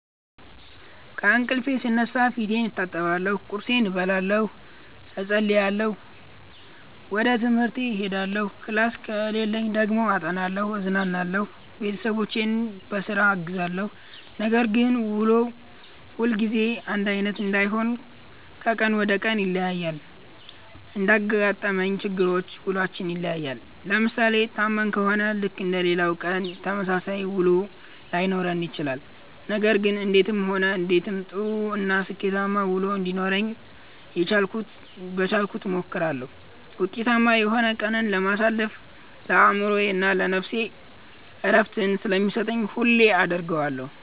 ከእንቅልፌ ስነሳ ፌቴን እታጠባለሁ ቁርሴን እበላለሁ እፀልያለሁ ወጀ ትምሀርቴ እሄዳለሁ ክላስ ከሌለኝ ደግሞ አጠናለሁ እዝናናለሁ ቤተሠቦቼን ቧስራ አግዛለሁ። ነገር ግን ውሎ ሁልጊዜ አንዳይነት አይሆንም ከቀን ወደ ቀን ይለያያል። እንዳጋጠመን ችግሮች ውሏችን ይለያያል። ለምሣሌ ታመን ከሆነ ልክ እንደሌላው ቀን የተመሣሠለ ውሎ ላይኖረን ይችላል። ነገር ግን እንዴትም ሆነ እንዴትም ጥሩ እና ስኬታማ ውሎ እንዲኖረኝ የቻልኩትን እሞክራለሁ። ውጤታማ የሆነ ቀንን ማሣለፍ ለአእምሮዬ እና ነፍሴ ዕረፍትን ስለሚሠጥ ሁሌም አደርገዋለሁ።